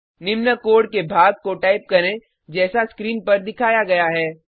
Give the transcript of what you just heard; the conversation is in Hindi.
निम्न कोड के भाग को टाइप करें जैसा स्क्रीन पर दिखाया गया है